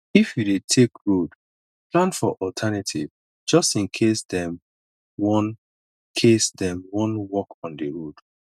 if you dey take road plan for alternative just in case dem wan case dem wan work on di road